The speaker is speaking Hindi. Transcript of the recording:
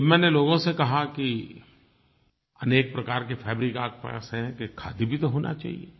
जब मैंने लोगों से कहा कि अनेक प्रकार के फैब्रिक्स आपके पास हैं तो एक खादी भी तो होना चाहिये